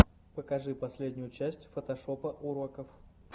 покажи последнюю часть фотошопа уроков